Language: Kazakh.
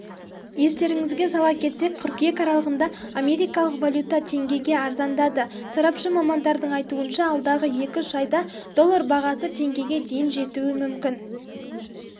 естеріңізге сала кетсек қыркүйек аралығында америкалық валюта теңгеге арзандады сарапшы мамандардың айтуынша алдағы екі-үш айда доллар бағасы теңгеге дейін жетуі мүмкін